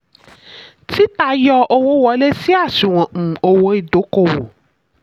títa: yọ owó wọlé sí àṣùwọ̀n um owó ìdókòwò.